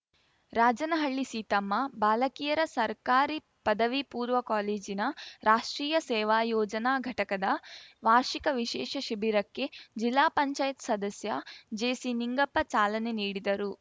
ರಾಜನಹಳ್ಳಿ ಸೀತಮ್ಮ ಬಾಲಕಿಯರ ಸರ್ಕಾರಿ ಪದವಿ ಪೂರ್ವ ಕಾಲೇಜಿನ ರಾಷ್ಟ್ರೀಯ ಸೇವಾ ಯೋಜನಾ ಘಟಕದ ವಾರ್ಷಿಕ ವಿಶೇಷ ಶಿಬಿರಕ್ಕೆ ಜಿಲ್ಲಾ ಪಂಚಾಯತ್ ಸದಸ್ಯ ಜೆಸಿನಿಂಗಪ್ಪ ಚಾಲನೆ ನೀಡಿದರು